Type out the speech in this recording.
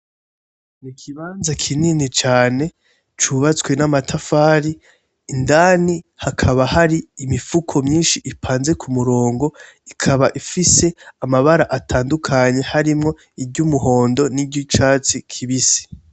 Ikibanza kinini cane cubatswe namatafari indani hakaba hari imifuko myinshi ipanze kumurongo ikaba ifise amabara atandukanye harimwo iryumuhondo niryicatsi kibisi.